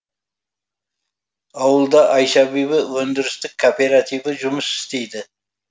ауылда айша бибі өндірістік кооперативі жұмыс істейді